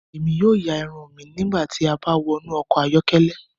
Emi yóò yạ irun mi nigbati a ba wọnu ọkọ ayọkẹlẹ